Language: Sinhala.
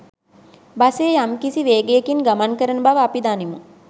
බසය යම්කිසි වේගයකින් ගමන් කරන බව අපි දනිමු.